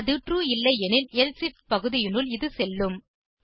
இது ட்ரூ இல்லையெனில் எல்சிஃப் பகுதியினுள் இது செல்லும்